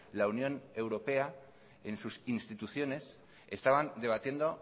la unión europea en sus instituciones estaban debatiendo